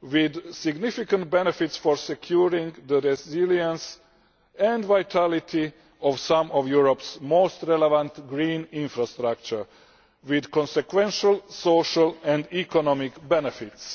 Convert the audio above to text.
with significant benefits for securing the resilience and vitality of some of Europe's most relevant green infrastructure with consequential social and economic benefits.